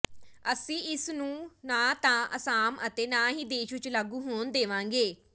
ਅਸੀਂ ਇਸ ਨੂੰ ਨਾ ਤਾਂ ਅਸਾਮ ਅਤੇ ਨਾ ਹੀ ਦੇਸ਼ ਵਿੱਚ ਲਾਗੂ ਹੋਣ ਦੇਵਾਂਗੇ